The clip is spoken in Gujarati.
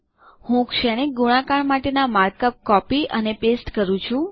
હું શ્રેણિક ગુણાકાર માટેના માર્કઅપ કોપી અને પેસ્ટ કરું છું